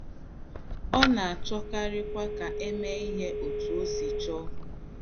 Ọ na - achọkarịkwa ka e mee ihe otú o si chọọ.